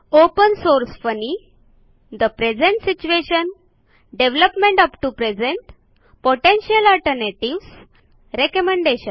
open source funny the present situation development up to present potential alternatives recommendation